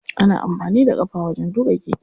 Ana amfani da ƙafa wajen tuƙa keke.